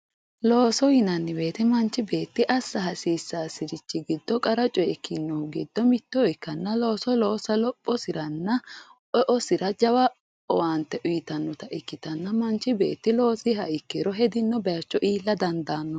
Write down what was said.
Looso yinnanni woyte manchi beetti assa hasiisasiri qarra coye ikkinori giddo mitto ikkanna looso loossa lophosiranna eosira owaante uyittanotta ikkittanna manchi beetti loosiha ikkiro hedinowa iilla dandaanno.